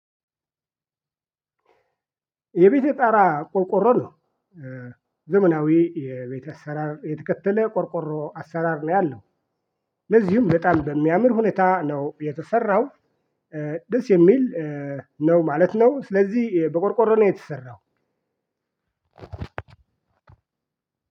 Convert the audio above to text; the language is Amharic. የቤቴ ጣራ ቆርቆሮ ነው። ዘመናዊ የቤት አሰራር የትከተለ ቆርቆሮ አሰራር ነው ያለው። ለዚሁም በጣም በሚያምር ሁኔታ ነው የተሰረው። ደስ የሚል ነው ማለት ነው። ስለዚህ በቆርቆሮ ነው የተሰራው።